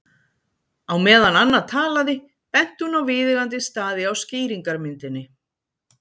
Á meðan Anna talaði benti hún á viðeigandi staði á skýringarmyndinni.